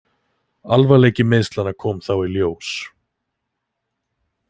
Alvarleiki meiðslanna kom þá í ljós.